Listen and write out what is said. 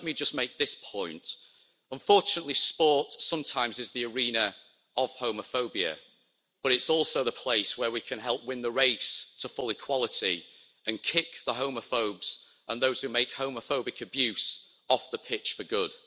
So let me just make this point unfortunately, sport sometimes is the arena of homophobia, but it's also the place where we can help win the race to full equality and kick the homophobes and those who make homophobic abuse off the pitch for good.